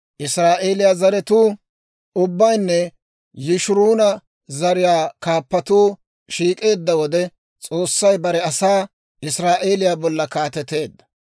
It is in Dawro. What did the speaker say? Israa'eeliyaa zaratuu ubbaynne Yishuuruna zariyaa kaappatuu shiik'eedda wode, S'oossay bare asaa, Israa'eeliyaa bolla kaateteedda.